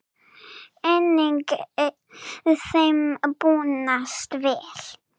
Einnig þeim búnast vel.